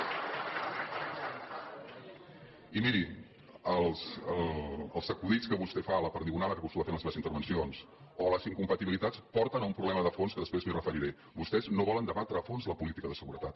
i miri els acudits que vostè fa la perdigonada que acostuma a fer en les seves intervencions o les incompatibilitats porten a un problema de fons que després m’hi referiré vostès no volen debatre a fons la política de seguretat